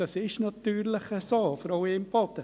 Das ist natürlich so, Frau Imboden.